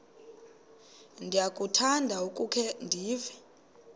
ndiyakuthanda ukukhe ndive